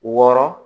Wɔɔrɔn